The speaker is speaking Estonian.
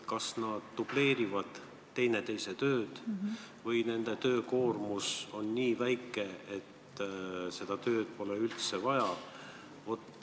Kas nad dubleerivad teineteise tööd või nende töökoormus on nii väike, et seda ametikohta pole üldse vaja.